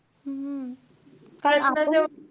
हम्म कारण आपण,